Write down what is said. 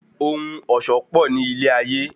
Ohun ọ̀ṣọ́ pò ní ilé ayé.